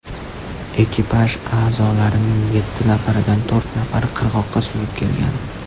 Ekipaj a’zolarining yetti nafaridan to‘rt nafari qirg‘oqqa suzib kelgan.